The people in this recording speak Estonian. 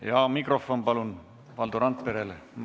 Palun mikrofon Valdo Randperele!